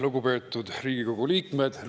Lugupeetud Riigikogu liikmed!